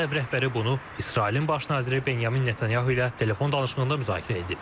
Ağ Ev rəhbəri bunu İsrailin baş naziri Benyamin Netanyahu ilə telefon danışığında müzakirə edib.